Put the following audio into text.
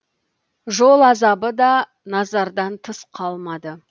жол азабы да назардан тыс қалмады